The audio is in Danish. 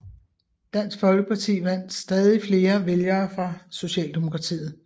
Dansk Folkeparti vandt stadig flere vælgere fra Socialdemokratiet